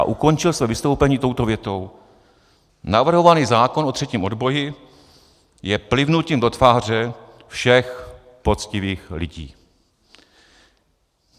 A ukončil své vystoupení touto větou: "Navrhovaný zákon o třetím odboji je plivnutím do tváře všech poctivých lidí."